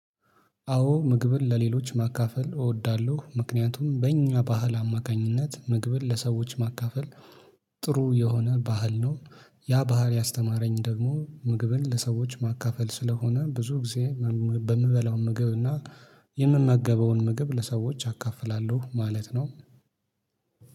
አዎ ምግብን ለሌሎች ማካፈል እወዳለሁ። ምክንያቱም በእኛ ባህል አማካኝነት ምግብን ለሰዎች ማካፈል ጥሩ የሆነ ባህል ነው። ያ ባህል ያስተማረኝ ደግሞ ምግብን ለሰዎች ማካፈል ስለሆነ ብዙ ጊዜ በምበላው ምግብ እና የምመገበውን ምግብ ለሰዎች አካፍላለሁ ማለት ነው።